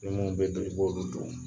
Ni mun be bili, i b'olu dun.